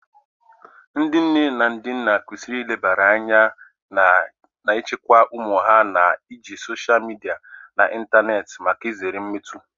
Ndị nne na nna kwesịrị ilebara anya na ịchịkwa ụmụ ha na iji soshal midia na ịntanetị maka izere mmetọ